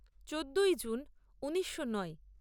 চোদ্দই জুন ঊনিশো নয়